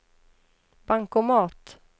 bankomat